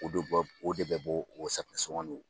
O do bɔ o de bɛ bɔ o safunɛ sɔgɔn in na.